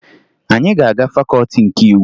Anyị ga-aga Fakọọti nke Iwu